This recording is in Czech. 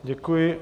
Děkuji.